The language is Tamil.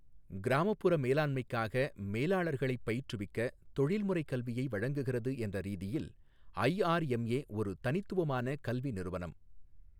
கிராமப்புற மேலாண்மைக்காக மேலாளர்களைப் பயிற்றுவிக்க தொழில்முறை கல்வியை வழங்குகிறது என்ற ரீதியில் ஐஆர்எம்ஏ ஒரு தனித்துவமான கல்வி நிறுவனம்.